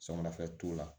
Samarafɛn t'u la